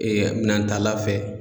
minantala fɛ.